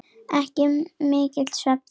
Ekki mikill svefn þá.